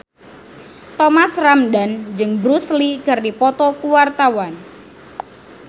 Thomas Ramdhan jeung Bruce Lee keur dipoto ku wartawan